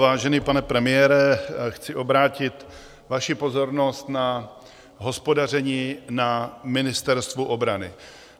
Vážený pane premiére, chci obrátit vaši pozornost na hospodaření na Ministerstvu obrany.